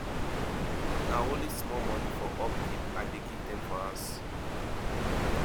na only small moni for upkeep i dey give dem for house